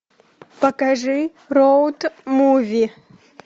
покажи роуд муви